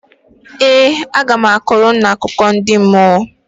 Ee, aga m akọrọ unu akụkọ ndị mmụọ